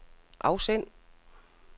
afsend